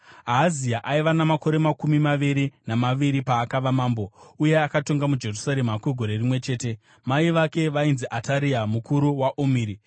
Ahazia aiva namakore makumi maviri namaviri paakava mambo, uye akatonga muJerusarema kwegore rimwe chete. Mai vake vainzi Ataria, muzukuru waOmuri.